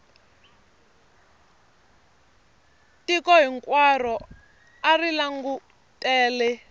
tiko hinkwaro a ri langutele